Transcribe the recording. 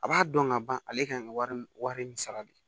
A b'a dɔn ka ban ale kan ka wari nin sara de